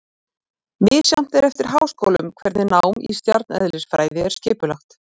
Misjafnt er eftir háskólum hvernig nám í stjarneðlisfræði er skipulagt.